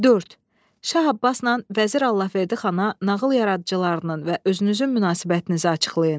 Şah Abbasla Vəzir Allahverdi xana nağıl yaradıcılarının və özünüzün münasibətinizi açıqlayın.